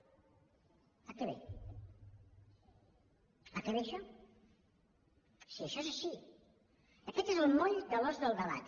a què ve a què ve això si això és així aquest és el moll de l’os del debat